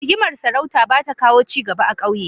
Rigimar sarauta ba ta kawo ci gaba a ƙauye.